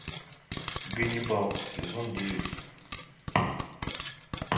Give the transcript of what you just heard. ганнибал сезон девять